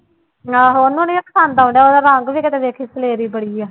ਆਹੋ ਉਹਨੂੰ ਨੀ ਪਸੰਦ ਆਉਂਦਾ ਉਹਦਾ ਰੰਗ ਵੀ ਕਿਤੇ ਦੇਖੀ ਸਲੇਰੀ ਬੜੀ ਹੈ।